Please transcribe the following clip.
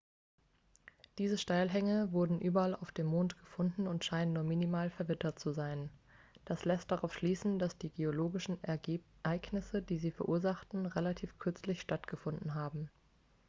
diese steilhänge wurden überall auf dem mond gefunden und scheinen nur minimal verwittert zu sein das lässt darauf schließen dass die geologischen ereignisse die sie verursachten relativ kürzlich stattgefunden haben